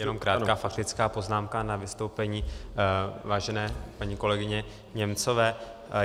Jen krátká faktická poznámka k vystoupení vážené paní kolegyně Němcové.